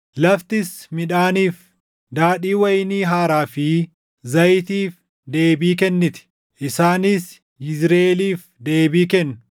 laftis midhaaniif, daadhii wayinii haaraa fi zayitiif deebii kenniti; isaanis Yizriʼeeliif deebii kennu.